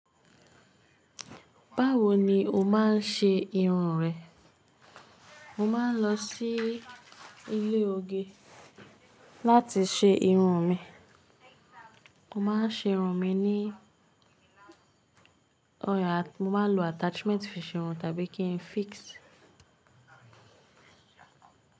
Báwo ni o máa ń ṣe irun rẹ? Mo máa ń lọ sí ilé oge láti ṣe irun mi. Mo máa ń ṣerun mi ní ọà, mo máa ń lo attachment fi ṣerun tàbí kí n fix.